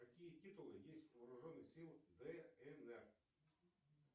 какие титулы есть у вооруженных сил днр